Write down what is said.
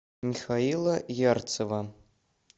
михаила ярцева